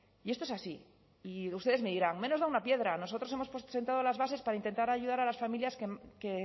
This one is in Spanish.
y esto es así y ustedes me dirán menos da una piedra nosotros hemos sentado las bases para intentar ayudar a las familias que